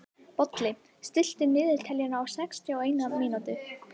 Bolli, stilltu niðurteljara á sextíu og eina mínútur.